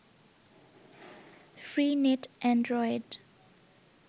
free net Android